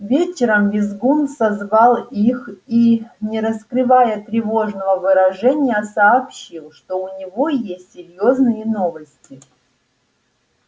вечером визгун созвал их и не раскрывая тревожного выражения сообщил что у него есть серьёзные новости